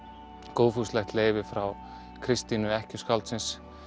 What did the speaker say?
góðfúslegt leyfi frá Kristínu ekkju skáldsins